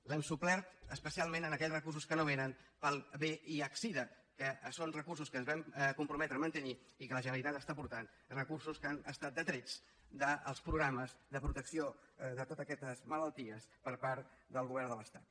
l’hem suplert especialment en aquells recursos que no vénen per al vihsida que són recursos que ens vam comprometre a mantenir i que la generalitat està aportant recursos que han estat detrets dels programes de protecció de totes aquestes malalties per part del govern de l’estat